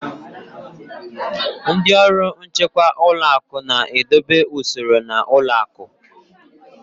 Ndị ọrụ nchekwa ụlọ akụ na-edobe usoro n'ụlọ akụ